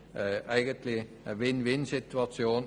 Es ist eigentlich eine Win-win-Situation.